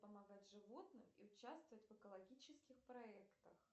помогать животным и участвовать в экологических проектах